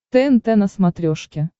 тнт на смотрешке